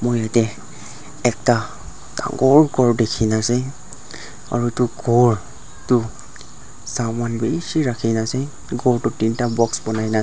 moi yatae ekta dangor khor dikhina ase aru edu khor tu saman bishi rakhina ase khor toh teenta box banai na ase.